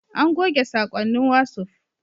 An goge saƙonnin wasuf